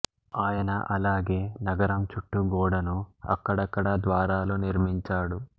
ఆయన అలాగే నగరం చుట్టూ గోడను అక్కడక్కడా ద్వారాలు నిర్మించాడు